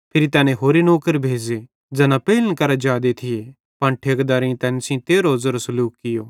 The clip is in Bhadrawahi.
फिरी तैनी होरे नौकर भेज़े ज़ैना पेइलन करां जादे थिये पन ठेकेदारेइं तैन सेइं भी तेरहो ज़ेरो सलूख कियो